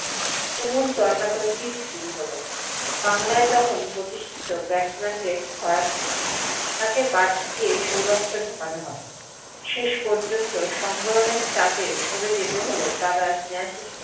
তুমুল তর্কা তর্কী শুরু হল, বাংলাই তখন প্রতিষ্ঠিত batsman দের ছড়াছড়ি, কাকে বাদ দিয়ে সৌরভকে ঢোকানো হবে। শেষ পর্যন্ত সম্বরণের চাপে সরে যেতে হল দাদা স্নেহাশিস